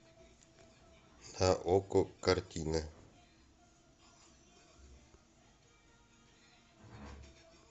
на окко картина